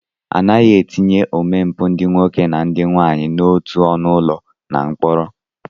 Anaghị etinye omempụ ndị nwoke na ndị nwaanyị n'otu ọnụụlọ na mkpọrọ